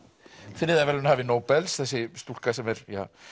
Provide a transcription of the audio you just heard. friðarverðlaunahafi Nóbels þessi stúlka sem er